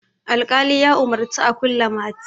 alƙali ya umarci a kulle mati